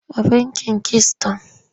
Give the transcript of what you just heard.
A bankin kisiton.